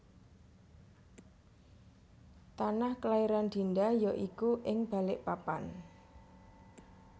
Tanah kelairan Dinda ya iku ing Balikpapan